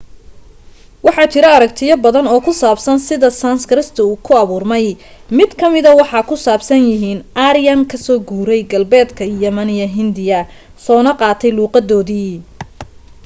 waxa jira aragtiyo baadan oo ku saabsan sida sanskrit ku abuurmay mid ka mida waxa ku saabsan yihiin aryan ka soo guuray galbeedka yimina hindiya soona qaatay luuqadoodii